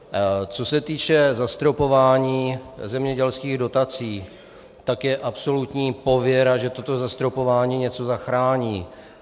Co se týče zastropování zemědělských dotací, tak je absolutní pověra, že toto zastropování něco zachrání.